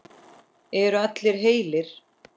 Eru allir heilir?